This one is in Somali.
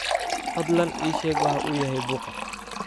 fadlan ii sheeg waxa uu yahay buuqa